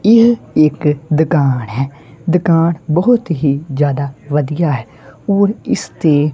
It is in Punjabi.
ਇਹ ਇੱਕ ਦਕਾਨ ਹੈ ਦਕਾਨ ਬਹੁਤ ਹੀ ਜਿਆਦਾ ਵਧੀਆ ਹੈ ਔਰ ਇਸ ਤੇ--